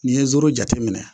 Ni ye jateminɛ